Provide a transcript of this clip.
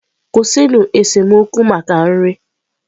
Kwụsịnụ esemokwu maka nri!